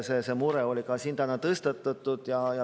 See mure tõstatati ka täna siin.